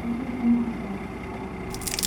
Ururinta malabka waa shaqo adag.